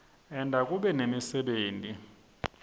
enta kube nemisebenti